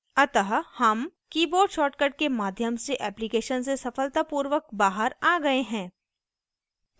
अतः हम keyboard shortcut के माध्यम से application से सफलतापूर्वक बाहर आ गए हैं